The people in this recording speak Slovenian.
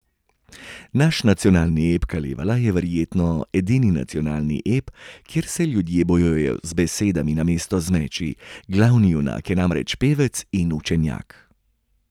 Naš nacionalni ep Kalevala je verjetno edini nacionalni ep, kjer se ljudje bojujejo z besedami namesto z meči, glavni junak je namreč pevec in učenjak.